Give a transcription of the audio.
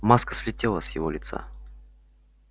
маска слетела с его лица